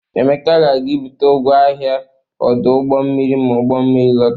Emeka ga-aga ibute ngwa ahia n'ọdụ ụgbọ mmiri ma ugbọ mmiri lọta.